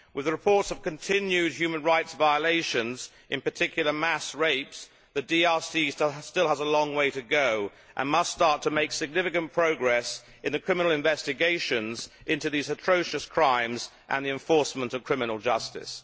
With the reports of continued human rights violations, in particular mass rapes, the DRC still has a long way to go and must start to make significant progress in the criminal investigations into these atrocious crimes and the enforcement of criminal justice.